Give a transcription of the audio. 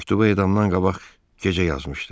Məktubu edamdan qabaq gecə yazmışdı.